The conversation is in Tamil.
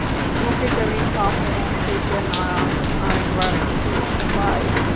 okay sir சார் பகலா take care நாளைக்கு வார okay யா bye